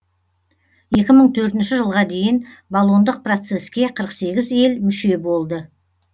екі мың төртінші жылға дейін болондық процеске қырық сегіз ел мүше болды